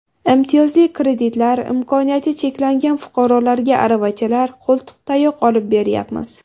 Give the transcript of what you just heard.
Imtiyozli kreditlar, imkoniyati cheklangan fuqarolarga aravachalar, qo‘ltiqtayoq olib beryapmiz.